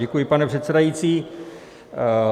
Děkuji, pane předsedající.